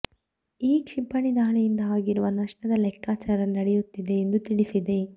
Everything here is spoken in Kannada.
ಈ ಕ್ಷಿಪಣಿ ದಾಳಿಯಿಂದ ಆಗಿರುವ ನಷ್ಟದ ಲೆಕ್ಕಾಚಾರ ನಡೆಯುತ್ತಿದೆ ಎಂದು ತಿಳಿಸಿದೆ